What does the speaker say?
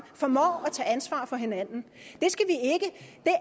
formår at tage ansvar for hinanden det